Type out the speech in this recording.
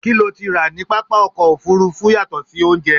kí lo ti rà ní pápá ọkọ̀ òfurufú yàtọ̀ sí oúnjẹ?